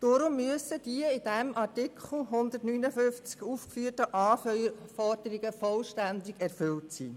Deshalb müssen die in Artikel 159 aufgeführten Anforderungen vollständig erfüllt sein.